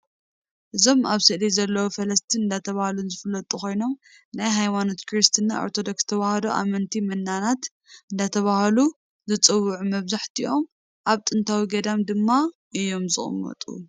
እዞም ኣብ ስእሊ ዘለዉ ፈለስቲ እንዳተባሃሉ ዝፍለጡ ኮይኖም ናይ ሃይማኖት ክርስትያን ኦርቶዶክስ ተዋህዶ ኣመንቲ መናናት እንዳተባሃሉ ዝፅውዑ መብዛሕትኦም ኣብ ጥንታዊ ገዳማት ድማ እዮም ዝቅመጠ።